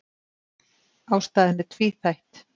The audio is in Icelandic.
Ástæðan er tvíþætt.